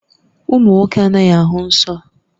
Ụmụ nwoke anaghị ahụ nsọ